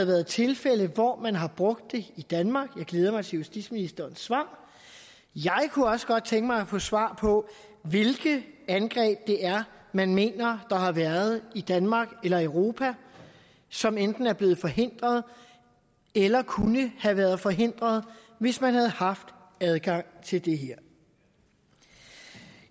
været tilfælde hvor man har brugt det i danmark og jeg glæder mig til justitsministerens svar jeg kunne også godt tænke mig at få svar på hvilke angreb det er man mener der har været i danmark eller europa som enten er blevet forhindret eller kunne have været forhindret hvis man havde haft adgang til det her